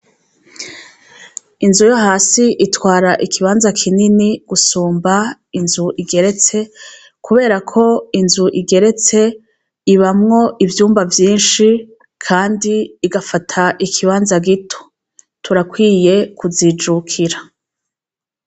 Inzu yo hasi itwara ikibanza kinini gusumba inzu igeretse, kubera ko inzu igereshe ibamwo ivyumba vyinshi, kandi igafata ikibanza gito. Turakwiye kizijurkira.